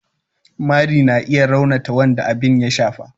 mari na iya raunata wanda abin ya shafa.